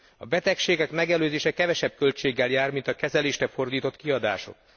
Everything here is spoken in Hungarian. A betegségek megelőzése kevesebb költséggel jár, mint a kezelésre fordított kiadások.